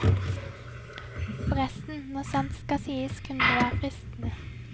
Forresten, når sant skal sies kunne det være fristende.